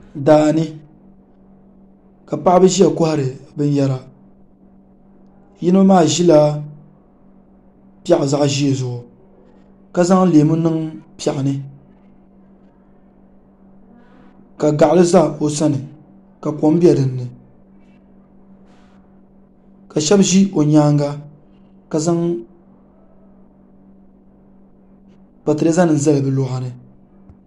Daa ni ka paɣiba ʒiya kɔhiri bɛ nɛma yino maa ʒila piɛɣu zaɣ'ʒee zuɣu ka zaŋ leemu niŋ piɛɣu ni ka gaɣili za o sani ka kom be dini ka shɛba ʒi o nyaaŋa ka zaŋ patireezanima zali bɛ luɣa ni.